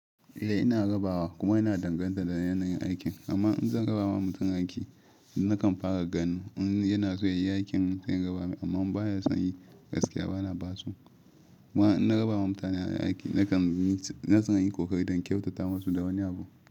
Eh ina rabawa kuma yana danganta da yanayin aikin amma in zan raba wa mutum aiki nakan fara ganin in yana son ayi aikin zan raba mai amma in ba ya son yi gaskiya bana basu. Kuma in na raba ma mutane aiki na kan yi kokari don kyautata masu da wani abu.